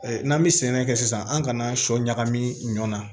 N'an bɛ sɛnɛ kɛ sisan an kana sɔ ɲagami ɲɔ na